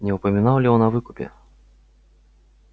не упоминал ли он о выкупе